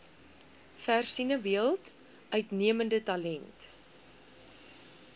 versinnebeeld uitnemende talent